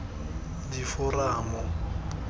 diforamo